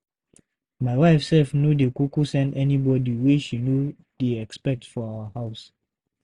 My wife self no dey kuku send anybody wey she no dey expect for our house.